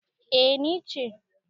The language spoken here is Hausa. A ni ce